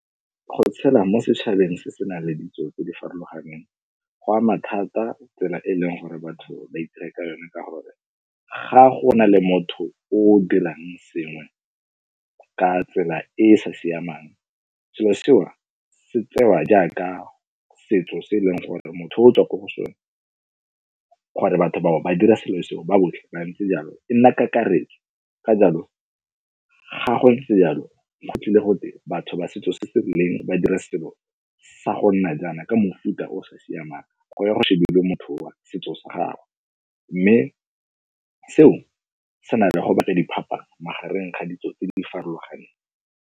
Go tshela mo setšhabeng se se nang le ditso tse di farologaneng, go ama thata tsela e e leng gore batho ba itira ka yone ka gore ga go na le motho o dirang sengwe ka tsela e e sa siamang, selo sewa se tsewa jaaka setso se eleng gore motho o tswa ko go sone gore batho bao ba dira selo seo ba botlhe ba ntse jalo, e nna kakaretso. Ka jaalo ga go ntse yalo go tlile gote batho ba setso se se ba dira selo sa go nna jaana ka mofuta o sa siamang go ya go motho wa setso sa gagwe mme seo se na le go batla diphapang magareng ga ditso tse di farologaneng.